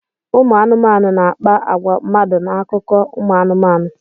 Ụmụ anụmanụ na-akpa agwa mmadụ n'akụkọ ụmụ anụmanụ.